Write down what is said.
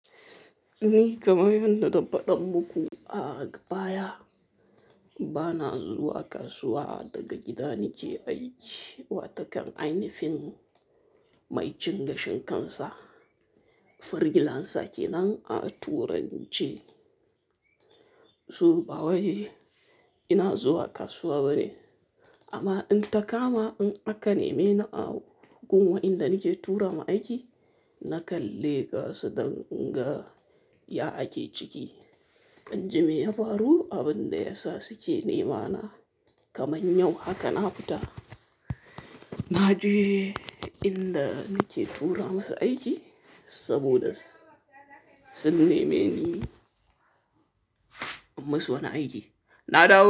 Ni kamar yadda na faɗa muku a baya, bana zuwa kasuwa daga gida nike aiki. Watakan ainafin mai cin gashin kansa, freelancer kenan a turance. To ba wai, ina zuwa kasuwa bane. Amma in ta kama in aka neme ni a gun wa inda nake turama aiki, na ka leƙasu don in ga ya ake ciki. In ji me ya faru, abin da ya sa suke nema na kamar yau haka na fita. Na je inda nike tura musu aiki saboda sun nemi ni in musu wani aiki. Na dawo.